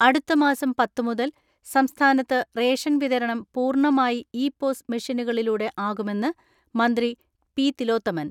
അടുത്ത മാസം പത്ത് മുതൽ സംസ്ഥാനത്ത് റേഷൻ വിതരണം പൂർണമായി ഇ പോസ് മെഷ്യനുകളിലൂടെ ആകുമെന്ന് മന്ത്രി പി.തിലോത്തമൻ.